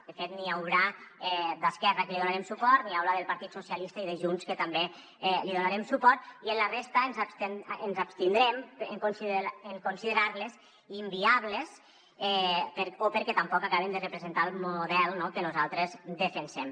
de fet n’hi haurà d’esquerra que els donarem suport n’hi haurà del partit socialista i de junts que també els donarem suport i en la resta ens abstindrem en considerar les inviables o perquè tampoc acaben de representar el model que nosaltres defensem